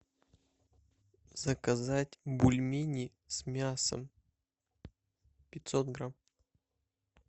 заказать бульмени с мясом пятьсот грамм